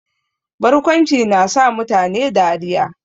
Barkwanci na sa mutane dariya